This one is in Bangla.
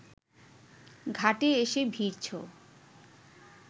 ঘাটে এসে ভিড়ছ